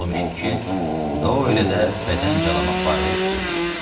Məlum işdir ki, Doyelə də bədən calamaq barədə düşünmüşəm.